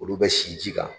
Olu bɛ si ji kan